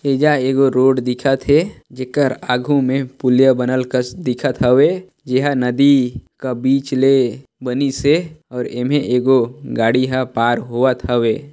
एजा एगो रोड दिखा थे जेकर आघू मे पुलिया बनल कस दिखत हवे एहा नदी के बीच ल बनिसे और एमे एगो गाड़ी ह पार होवत हवे।